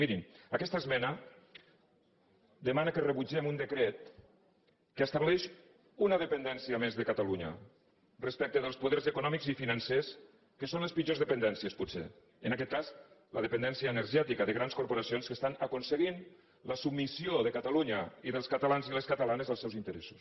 mirin aquesta esmena demana que rebutgem un decret que estableix una dependència més de catalunya respecte dels poders econòmics i financers que són les pitjors dependències potser en aquest cas la dependència energètica de grans corporacions que estan aconseguint la submissió de catalunya i dels catalans i les catalans als seus interessos